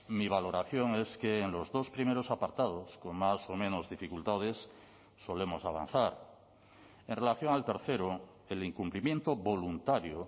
mi valoración es que en los dos primeros apartados con más o menos dificultades solemos avanzar en relación al tercero el incumplimiento voluntario